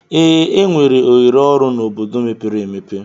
Ee, enwere ohere ọrụ n'obodo mepere emepe.